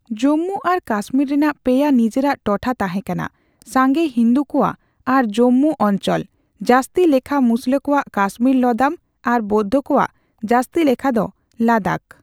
ᱡᱚᱢᱢᱩ ᱟᱨ ᱠᱟᱥᱢᱤᱨ ᱨᱮᱱᱟᱜ ᱯᱮᱭᱟ ᱱᱤᱡᱮᱨᱟᱜ ᱴᱚᱴᱷᱟ ᱛᱟᱸᱦᱮᱠᱟᱱᱟᱺ ᱥᱟᱸᱜᱮ ᱦᱤᱱᱫᱩ ᱠᱚᱣᱟᱜ ᱟᱨ ᱡᱚᱢᱢᱩ ᱚᱧᱪᱚᱞ, ᱡᱟᱹᱥᱛᱤ ᱞᱮᱠᱷᱟ ᱢᱩᱥᱞᱟᱹ ᱠᱚᱣᱟᱜ ᱠᱟᱥᱢᱤᱨ ᱞᱚᱫᱟᱢ ᱟᱨ ᱵᱳᱣᱫᱷᱚ ᱠᱚᱣᱟᱜ ᱡᱟᱹᱥᱛᱤ ᱞᱮᱠᱷᱟ ᱫᱚ ᱞᱟᱫᱟᱠᱷ ᱾